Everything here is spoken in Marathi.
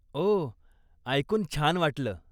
ओहह, ऐकून छान वाटलं.